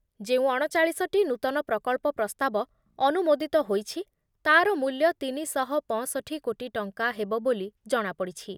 ଯେଉଁ ଅଣଚାଳିଶ ଟି ନୂତନ ପ୍ରକଳ୍ପ ପ୍ରସ୍ତାବ ଅନୁମୋଦିତ ହୋଇଛି, ତା’ର ମୂଲ୍ୟ ତିନି ଶହ ପଞ୍ଚଷଠି କୋଟି ଟଙ୍କା ହେବ ବୋଲି ଜଣାପଡ଼ିଛି ।